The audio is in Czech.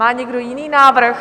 Má někdo jiný návrh?